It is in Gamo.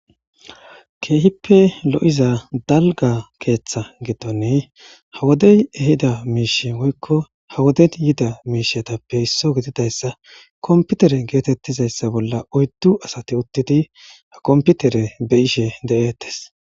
keehippe lo7iza dalga keeththa giddonne ha wodey ehida miishe woykko ha woden yida miishetappe isso gididayssa komputere geetettizayssa bolla oyddu asati uttidi ha komputere be ishe de7eettes